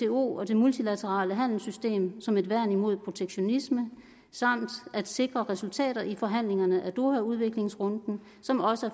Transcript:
og det multilaterale handelssystem som et værn imod protektionisme samt at sikre resultater i forhandlingerne af doha udviklingsrunden som også